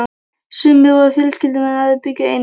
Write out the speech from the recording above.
Sumir voru fjölskyldumenn, aðrir bjuggu einir.